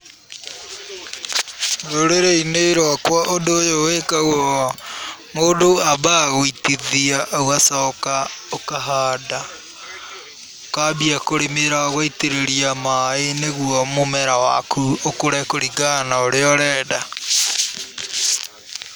Rũrĩrĩ-inĩ rwakwa ũndũ ũyũ wĩkagwo, mũndũ ambaga gũitithia ũgacoka ũkahanda, ũkambia kũrĩmĩra, ũgaitĩrĩria maaĩ nĩguo mũmera waku ũkũre kũringana na ũrĩa ũrenda.